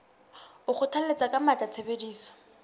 o kgothalletsa ka matla tshebediso